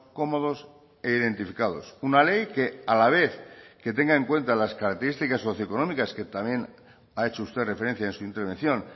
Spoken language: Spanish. cómodos e identificados una ley que a la vez que tenga en cuenta las características socioeconómicas que también ha hecho usted referencia en su intervención